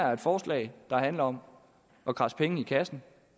er et forslag der handler om at kradse penge i kassen